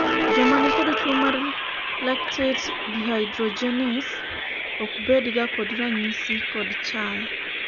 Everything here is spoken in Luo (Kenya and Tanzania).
joma nikod tuo mar lactate dehydrogenase ok bedga kod ranyisi kod chal